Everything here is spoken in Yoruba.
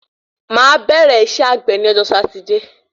Máà bẹ̀rẹ́ isẹ́ àgbè ni ọjọ́ Sátidé